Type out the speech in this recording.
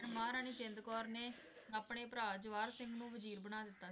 ਮਹਾਰਾਣੀ ਜਿੰਦ ਕੌਰ ਨੇ ਅਪਣੇ ਭਰਾ ਜਵਾਹਰ ਸਿੰਘ ਨੂੰ ਵਜ਼ੀਰ ਬਣਾ ਦਿਤਾ।